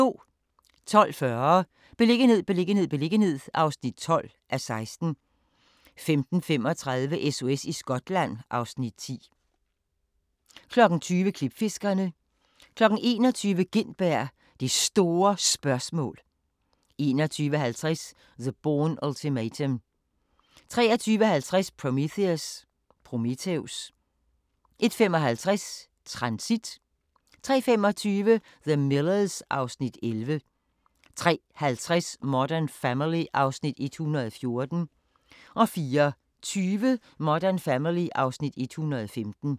12:40: Beliggenhed, beliggenhed, beliggenhed (12:16) 15:35: SOS i Skotland (Afs. 10) 20:00: Klipfiskerne 21:00: Gintberg – Det Store Spørgsmål 21:50: The Bourne Ultimatum 23:50: Prometheus 01:55: Transit 03:25: The Millers (Afs. 11) 03:50: Modern Family (Afs. 114) 04:20: Modern Family (Afs. 115)